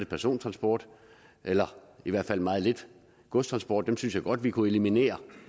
persontransport eller i hvert fald meget lidt godstransport dem synes jeg godt vi kunne eliminere